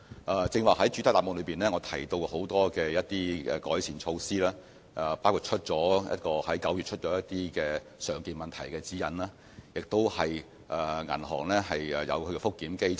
我剛才在主體答覆提到多項改善措施，包括在去年9月發出的"常見問題指引"，以及銀行設立的覆檢機制。